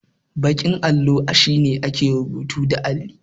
Baƙin allo shine ake rubutun da alli.